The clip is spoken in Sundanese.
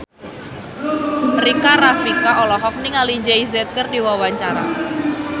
Rika Rafika olohok ningali Jay Z keur diwawancara